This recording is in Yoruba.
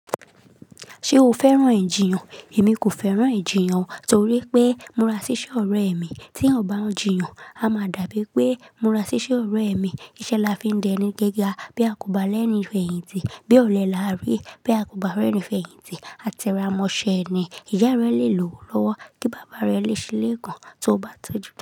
Ṣé o fẹ́ràn ìjiyàn? Èmi kò fẹ́ràn ìjiyàn torí pé mo ra ṣíṣẹ́ ọ̀rẹ́ mi tí ó bá ń jìyàn. A máa dàbí pé mura ṣíṣẹ́ ọ̀rẹ́ mi. Iṣẹ́ là fi ń dẹni gẹ́gà bí a kò bá rẹ́ni fẹ̀yìntì, bí ọ̀lẹ là rí bí a kò bá rẹ́ni fẹ̀yìntì, a te ra mọ ṣẹ eni. Ìyá rẹ le lòò lọ́wọ́, kí bàbá rẹ le ṣílé kan tó bá tọ́jú.